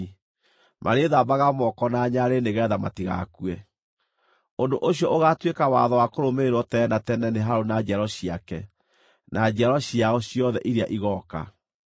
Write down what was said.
marĩĩthambaga moko na nyarĩrĩ nĩgeetha matigakue. Ũndũ ũcio ũgaatuĩka watho wa kũrũmĩrĩrwo tene na tene nĩ Harũni na njiaro ciake, na njiarwa ciao ciothe iria igooka.”